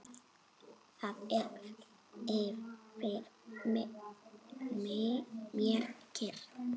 Það er yfir mér kyrrð.